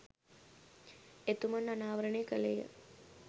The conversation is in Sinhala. එතුමන් අනාවරණය කළේය.